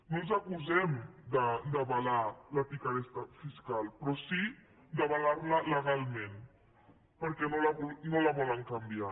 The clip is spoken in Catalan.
no els acusem d’avalar la picaresca fiscal però sí d’avalarla legalment perquè no la volen canviar